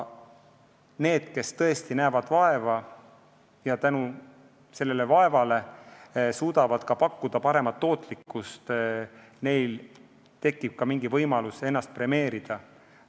Neil, kes näevad vaeva ja tänu sellele suudavad pakkuda paremat tootlust, tekib võimalus ennast premeerida.